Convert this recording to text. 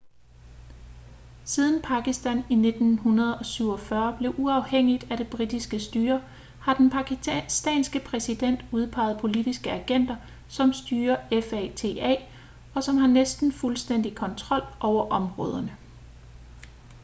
siden pakistan i 1947 blev uafhængigt af det britiske styre har den pakistanske præsident udpeget politiske agenter som styrer fata og som har næsten fuldstændig kontrol over områderne